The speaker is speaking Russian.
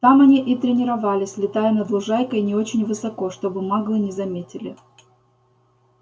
там они и тренировались летая над лужайкой не очень высоко чтобы маглы не заметили